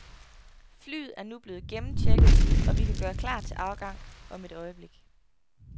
Flyet er nu blevet gennemchecket, og vi kan gøre klar til afgang om et øjeblik.